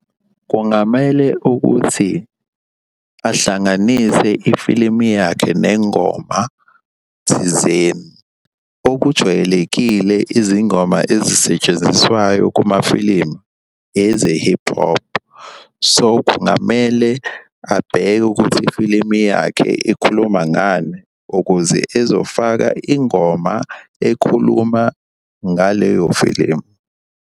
Kungamele ukuthi ahlanganise ifilimu yakhe nengoma thizeni. Okujwayelekile izingoma ezisetshenziswayo kumafilimu eze-hip hop. So, kungamele abheke ukuthi ifilimu yakhe ikhuluma ngani ukuze ezofaka ingoma ekhuluma ngaleyo filimu.